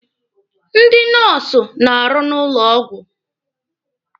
Ndị nọọsụ na-arụ n'ụlọ ọgwụ.